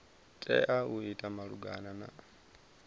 tea u ita malugana na